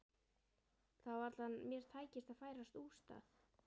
Það var varla að mér tækist að færast úr stað.